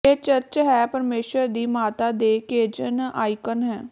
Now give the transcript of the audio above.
ਇਹ ਚਰਚ ਹੈ ਪਰਮੇਸ਼ੁਰ ਦੀ ਮਾਤਾ ਦੇ ਕੇਜ਼ਨ ਆਈਕਾਨ ਹੈ